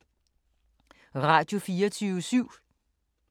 Radio24syv